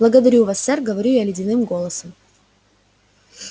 благодарю вас сэр говорю я ледяным голосом